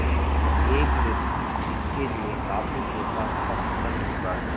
एक व्यक्ति इसके लिए काफ़ी पैसा खर्च कर चुका है